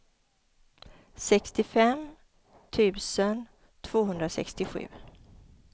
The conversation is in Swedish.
sextiofem tusen tvåhundrasextiosju